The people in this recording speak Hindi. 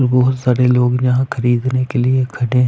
बहुत सारे लोग यहाँ खरीदने के लिए खड़े हैं।